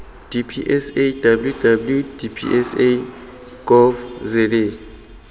dpsa www dpsa gov za